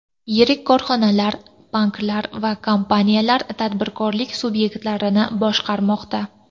Yirik korxonalar, banklar va kompaniyalar, tadbirkorlik subyektlarini boshqarmoqda.